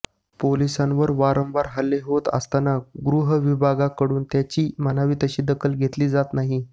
पोलिसांवर वारंवार हल्ले होत असताना गृह विभागाकडून त्याची म्हणावी तशी दखल घेतली जात नाही